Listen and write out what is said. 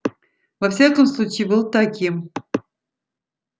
во всяком случае был таким